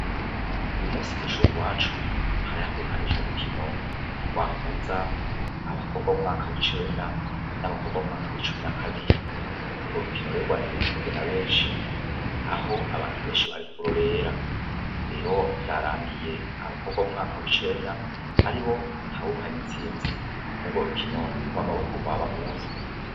Uyu munsi kw'ishuri iwacu, hari hategekanijwe umukino wahuza abakobwa b'umwaka w'icenda n'abakobwa b'umwaka w'icumi na kabiri, urwo rukino rero rwari rwitabwe na benshi aho abantu benshi bari kurorera, rero vyarangiye abakobwa b'umwaka w'icenda aribo batahukanye intsinzi mw'urwo rukino rw'amaboko rwabahuza.